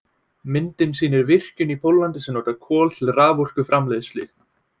Myndin sýnir virkjun í Póllandi sem notar kol til raforkuframleiðslu.